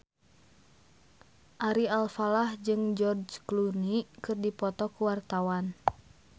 Ari Alfalah jeung George Clooney keur dipoto ku wartawan